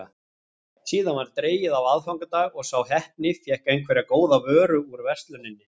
Síðan var dregið á aðfangadag og sá heppni fékk einhverja góða vöru úr versluninni.